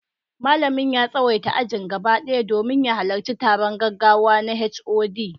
Malamin ya tsawaita ajin gaba ɗaya domin ya halarci taron gaggawa na HOD.